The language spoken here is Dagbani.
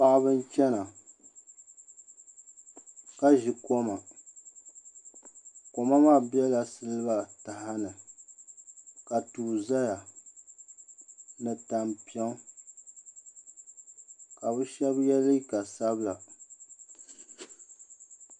Paɣaba n chɛna ka ʒi kom kom maa biɛla siliba taha ni ka tua ʒɛya ni tampiŋ ka bi shab yɛ liiga sabila